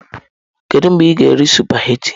Kedu mgbe ị ga-eri sụpaghetị?